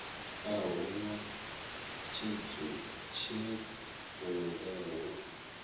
a hu na tshidzumbe hu